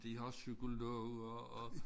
De har også psykologer og